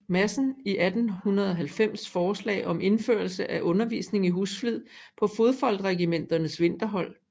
Madsen i 1890 forslag om indførelse af undervisning i husflid på fodfolkregimenternes vinterhold